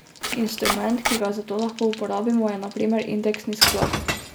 Instrument, ki ga za to lahko uporabimo, je na primer indeksni sklad.